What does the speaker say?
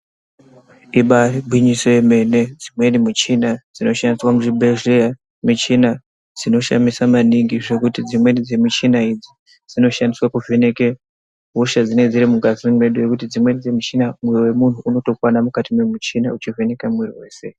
Ibairi ngwinyiso ye mene dzimweni muchina dzino shandiswa mu zvibhedhleya michina dzino shamisa maningi zvekuti dzimweni dze muchina idzi dzino shandiswa kuvheneke hosha dzinenge dziri mungazi mwedu ngekuti dzimweni dze muchina moyo we munhu unotokwana mukati me muchina uchito vheneka mwiri weshe.